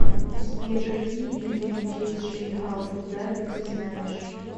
сбер какие виды мечеть шейха абу даби ты знаешь